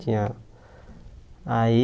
Tinha... Aí...